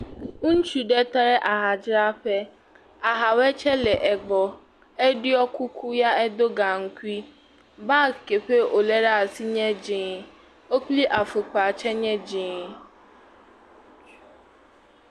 Ŋutsu ɖe tɔ ɖe ahadzraƒe, ahawe tsɛ le egbɔ, eɖɔ kuku ya edo gaŋkui, bag ke ƒe wòlé ɖe asi nye dzee, wo kpli afɔkpa tsɛ nye dzee.